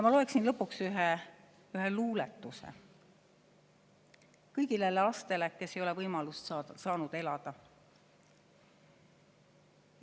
Lõpuks loeksin ühe luuletuse kõigile neile lastele, kes ei ole saanud võimalust elada.